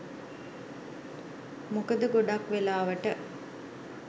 මොකද ගොඩක් වෙලාවට